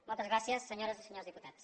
moltes gràcies senyores i senyors diputats